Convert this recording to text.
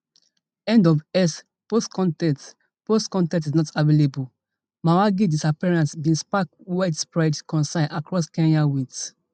end of x post con ten t post con ten t is not available mwangi disappearance bin spark widespread concern across kenya wit